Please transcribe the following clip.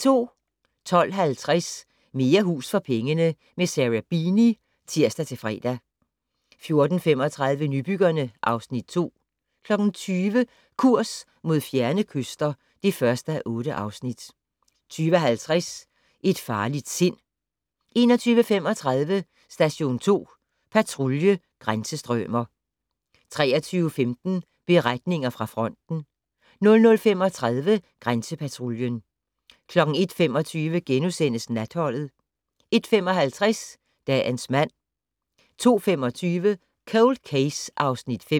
12:50: Mere hus for pengene - med Sarah Beeny (tir-fre) 14:35: Nybyggerne (Afs. 2) 20:00: Kurs mod fjerne kyster (1:8) 20:50: Et farligt sind 21:35: Station 2 Patrulje: Grænsestrømer 23:15: Beretninger fra fronten 00:35: Grænsepatruljen 01:25: Natholdet * 01:55: Dagens mand 02:25: Cold Case (Afs. 5)